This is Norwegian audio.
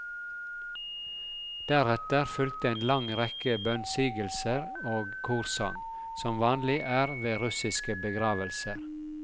Deretter fulgte en lang rekke bønnsigelser og korsang, som vanlig er ved russiske begravelser.